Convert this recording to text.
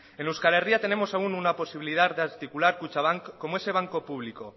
en euskal herria tenemos aún una posibilidad de articular kutxabank como ese banco público